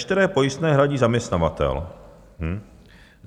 Veškeré pojistné hradí zaměstnavatel.